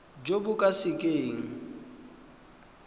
jo bo ka se keng